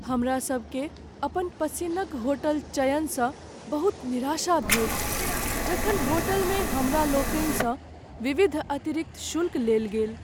हम सब के अपन पसिन्नक होटल चयन स बहुत निराशा भेल जखन होटल में हमरा लोकनि सँ विविध अतिरिक्त शुल्क लेल गेल।